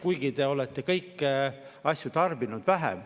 Kuigi te olete kõiki asju tarbinud vähem.